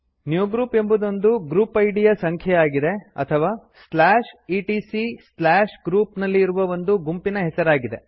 new group ಎಂಬುದೊಂದು group ಇದ್ ಯ ಸಂಖ್ಯೆಯಾಗಿದೆ ಅಥವಾ etcgroup ನಲ್ಲಿ ಇರುವ ಒಂದು ಗುಂಪಿನ ಹೆಸರಾಗಿದೆ